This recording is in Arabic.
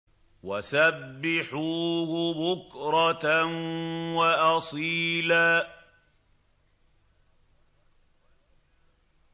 وَسَبِّحُوهُ بُكْرَةً وَأَصِيلًا